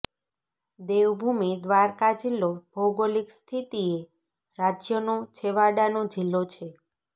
દેવભૂમિ દ્વારકા જિલ્લો ભૌગોલિક સ્થિતિએ રાજયનો છેવાડાનો જિલ્લો છે